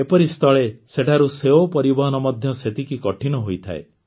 ଏପରି ସ୍ଥଳେ ସେଠାରୁ ସେଓ ପରିବହନ ମଧ୍ୟ ସେତିକି କଠିନ ହୋଇଥାଏ